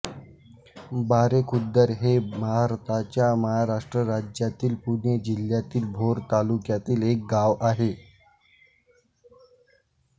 बारेखुर्द हे भारताच्या महाराष्ट्र राज्यातील पुणे जिल्ह्यातील भोर तालुक्यातील एक गाव आहे